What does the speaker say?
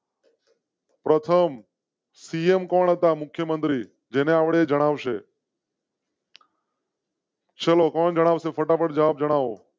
પ્રથમ સીએમ કોણ હતા? મુખ્ય મંત્રી જેને આવડે જણાવ શે? ચલો કોણ જણાવશે ફટાફટ જવાબ જણાવો.